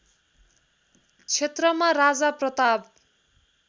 क्षेत्रमा राजा प्रताप